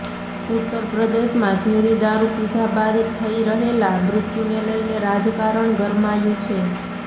ઉત્તર પ્રદેશમાં ઝેરી દારુ પીધા બાદ થઈ રહેલા મૃત્યુને લઈને રાજકારણ ગરમાયું છે